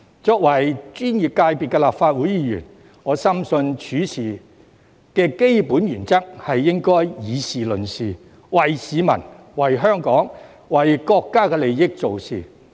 作為專業界別的立法會議員，我深信處事的基本原則應該是議事論事，為市民、為香港、為國家的利益做事。